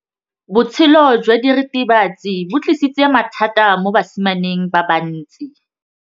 Botshelo jwa diritibatsi ke bo tlisitse mathata mo basimaneng ba bantsi.